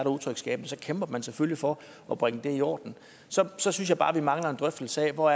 utryghed så kæmper man selvfølgelig for at bringe det i orden så synes jeg bare at vi mangler en drøftelse af hvor